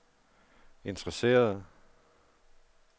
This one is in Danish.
interesserede